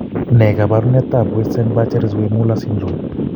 Ne kaabarunetap Weissenbacher Zweymuller syndrome?